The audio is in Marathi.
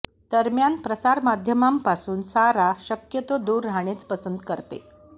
दरम्यान प्रसारमाध्यमांपासून सारा शक्यतो दूर राहणेच पसंत करते